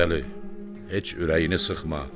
Novruzəli, heç ürəyini sıxma.